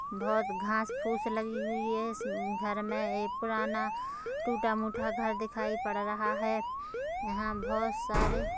बोहोत घास फूस लगी हुई है इस घर में ये पुराना टूटा मुटा घर दिखाई पड़ रहा है यहाँ बोहोत सारे--